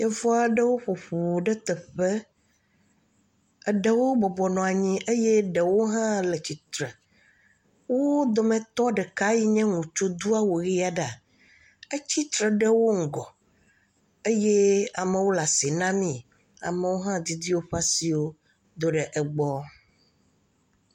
Yevu aɖewo ƒoƒu ɖe teƒe, eɖewo bɔbɔ nɔ anyi eye ɖewo hã le tsitre. Wo dometɔ ɖeka yin ye ŋutsu do awu ʋɛ̃ aɖe, etsitre ɖe wo ŋgɔ eye amewo le asi namii, amewo hã didi woƒe asiwo ɖe egbɔ.